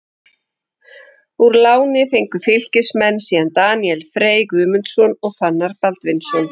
Úr láni fengu Fylkismenn síðan Daníel Frey Guðmundsson og Fannar Baldvinsson.